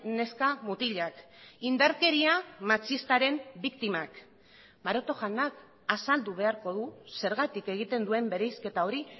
neska mutilak indarkeria matxistaren biktimak maroto jaunak azaldu beharko du zergatik egiten duen bereizketa hori